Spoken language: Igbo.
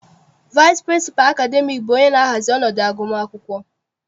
Vaịsị pịrịnsịpalụ akademiiki bụ onye na-ahazi ọnọdụ agụmakwụkwọ.